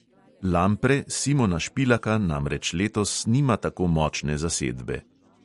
Lampre simona špilaka namreč letos nima tako močne zasedbe.